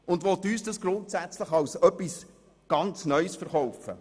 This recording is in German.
Dies will man uns als etwas grundsätzlich Neues verkaufen.